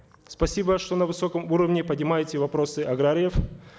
спасибо что на высоком уровне поднимаете вопросы аграриев